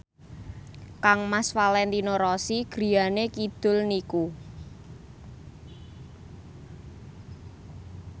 kangmas Valentino Rossi griyane kidul niku